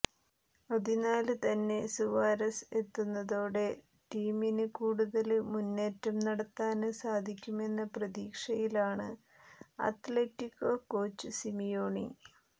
അതിനാല്ത്തന്നെ Suarez എത്തുന്നതോടെ ടീമിന് കൂടുതല് മുന്നേറ്റം നടത്താന് സാധിക്കുമെന്ന പ്രതീക്ഷയിലാണ് അത്ലറ്റികോ കോച്ച് സിമിയോണി